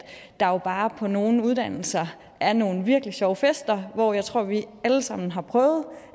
der jo bare på nogle uddannelser er nogle virkelig sjove fester og jeg tror at vi allesammen har prøvet